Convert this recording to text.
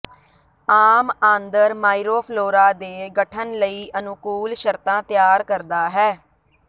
ਆਮ ਆਂਦਰ ਮਾਈਰੋਫਲੋਰਾ ਦੇ ਗਠਨ ਲਈ ਅਨੁਕੂਲ ਸ਼ਰਤਾਂ ਤਿਆਰ ਕਰਦਾ ਹੈ